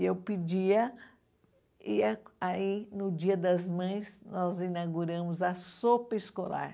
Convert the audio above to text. E eu pedia ia, aí, no dia das mães, nós inauguramos a sopa escolar.